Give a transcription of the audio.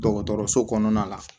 Dɔgɔtɔrɔso kɔnɔna la